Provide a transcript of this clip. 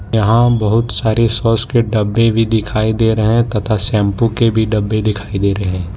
यहां बहुत सारी सॉस के डब्बे भी दिखाई दे रहे हैं तथा शैंपू के भी डब्बे दिखाई दे रहे हैं।